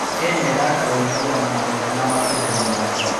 Kenya ĩraka ũiguano mwega na mabũrũri mangĩ.